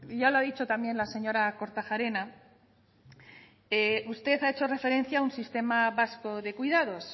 ya lo ha dicho también la señora kortajarena usted ha hecho referencia a un sistema vasco de cuidados